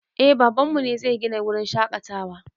Eh baban mu ne zai gina wurin shaƙatawa